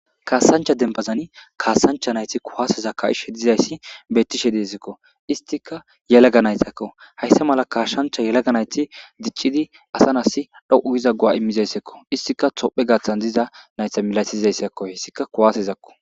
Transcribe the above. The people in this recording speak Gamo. kaasancha dembazan kaasancha nayti kuwaseza ka7ishe dizayssi bettishe deezekko istika yelaga naytakko hayssa mala kaashshancha yelaga nayti diccidi asa nasi dho7u giza gowa immizayssekko istika tophe gaaththan diza naytha milasizayssakko hessika kuwasezakko